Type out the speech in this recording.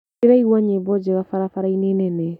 Ndĩraigua nyĩmbo njega barabarainĩ nene.